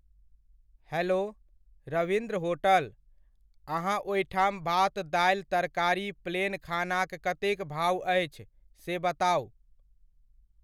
Hello, Ravindra hotel, अहाँ ओहिठाम भात दालि तरकारी प्लेन खानाक कतेक भाओ अछि से बताउ।